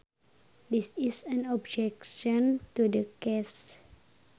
This is an objection to the case